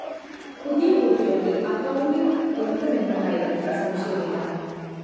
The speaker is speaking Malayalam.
പുതിയ കൂട്ടുകെട്ട് അക്കൌണ്ട്‌ തുറക്കുമെന്ന കാര്യത്തില്‍ സംശയമില്ല